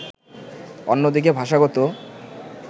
অন্যদিকে ভাষাগত